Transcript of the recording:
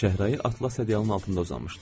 Şəhrayi atlas ədyalın altında uzanmışdı.